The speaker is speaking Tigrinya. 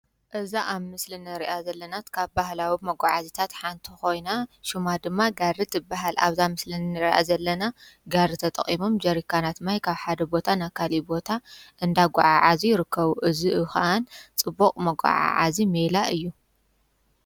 እዛ ኣብ ምስሊ እንርእያ ዘለና ካብ ባህላዊ መጓዓዝታት ሓንቲ ኮይና ሽማ ድማ ጋሪ ትብሃል፤ ኣብዛ ምስሊ እንርእያ ዘለና ጋሪ ተጠቂሞም ጀሪካናት ማይ ካብ ሓደ ቦታ ናብ ካሊእ ቦታ እንዳጓዓዓዙ ይርከቡ እዚ ከዓ ፅቡቅ መጓዓዓዚ ሜላ እዩ።